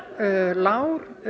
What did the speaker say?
lágur